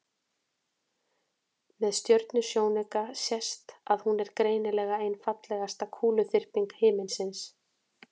með stjörnusjónauka sést að hún er greinilega ein fallegasta kúluþyrping himinsins